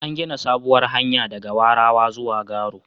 An gina sabuwar hanya daga Warawa zuwa Garo.